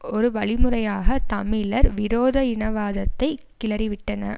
ஒரு வழிமுறையாக தமிழர் விரோத இனவாதத்தை கிளறிவிட்டன